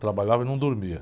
Trabalhava e não dormia.